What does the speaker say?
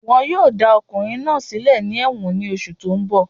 Wọ́n yóò dá ọkùnrin náà sílẹ̀ ní ẹ̀wọ̀n ní oṣù tó n bọ̀